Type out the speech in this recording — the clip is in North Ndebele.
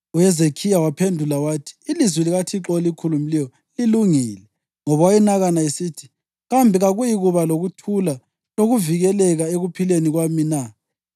UHezekhiya waphendula wathi: “Ilizwi likaThixo olikhulumileyo lilungile.” Ngoba wayenakana esithi: “Kambe kakuyikuba lokuthula lokuvikeleka ekuphileni kwami na?”